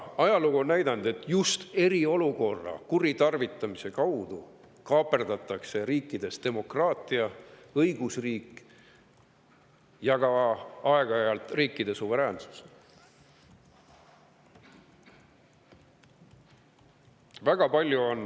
Ajalugu on näidanud, et just eriolukorra kuritarvitamise kaudu kaaperdatakse riikides demokraatia, õigusriik ja aeg-ajalt ka riikide suveräänsus.